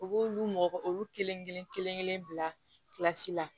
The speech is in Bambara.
U b'olu mɔgɔ olu kelen kelen kelen kelen bila kilasi la